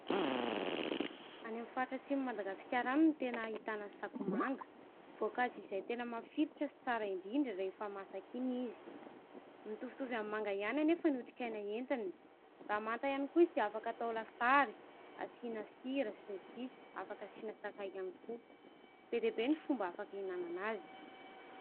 Any amin'ny faritra atsimon'i Madagasikara any no tena ahitana ny sakoa manga. Voankazo izay tena mafilotra sy tsara indrindra rehefa masaka iny izy. Mitovitovy amin'ny manga ihany anefa ny otrikaina entiny. Raha manta ihany koa izy dia afaka atao lasary, asiana sira sy ny sisa, afaka asiana sakay ihany koa. Be dia be ny fomba afaka hihinanana azy.